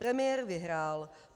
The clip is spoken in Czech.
Premiér vyhrál.